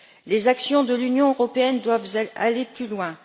Les actions de l'Union européenne doivent aller plus loin.